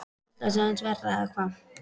Ég held að það sé aðeins verra, eða hvað?